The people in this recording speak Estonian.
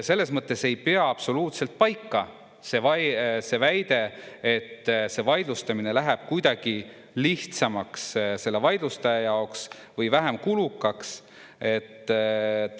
Selles mõttes ei pea absoluutselt paika see väide, et vaidlustamine läheb kuidagi lihtsamaks selle vaidlustaja jaoks või vähem kulukaks.